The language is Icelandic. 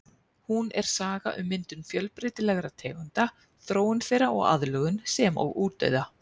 Hún er saga um myndun fjölbreytilegra tegunda, þróun þeirra og aðlögun sem og útdauða.